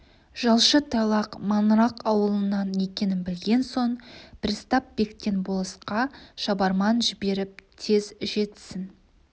жалшы тайлақ маңырақ ауылынан екенін білген соң пристав бектен болысқа шабарман жіберіп тез жетсін